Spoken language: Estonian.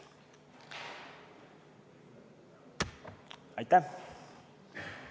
Aitäh!